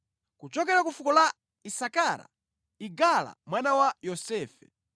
kuchokera ku fuko la Isakara, Igala mwana wa Yosefe;